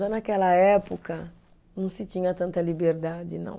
Naquela época, não se tinha tanta liberdade, não.